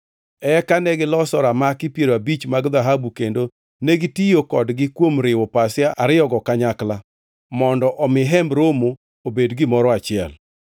Eka negiloso ramaki piero abich mag dhahabu kendo negitiyo kodgi kuom riwo pasia ariyogo kanyakla mondo omi Hemb Romo obed gimoro achiel.